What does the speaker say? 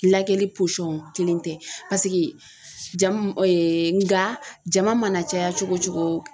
Lagɛli kelen tɛ paseke jama nka jama mana caya cogo o cogo.